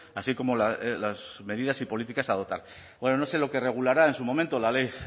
así como las medidas y políticas a adoptar bueno no sé lo que regulará en su momento la ley